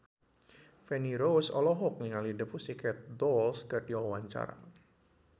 Feni Rose olohok ningali The Pussycat Dolls keur diwawancara